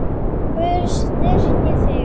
Guð styrki þig.